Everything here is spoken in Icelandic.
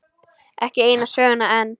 Ekki eina söguna enn.